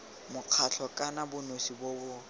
mokgatlho kana bonosi bo bo